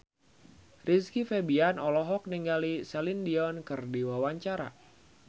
Rizky Febian olohok ningali Celine Dion keur diwawancara